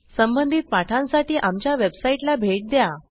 संबंधित पाठांसाठी आमच्या वेबसाईटला भेट द्या